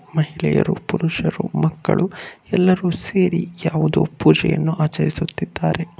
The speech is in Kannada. ಮಹಿಳೆಯರು ಪುರುಷರು ಮಕ್ಕಳು ಎಲ್ಲರೂ ಸೇರಿ ಯಾವುದೋ ಪೂಜೆಯನ್ನು ಆಚರಿಸುತ್ತಿದ್ದಾರೆ.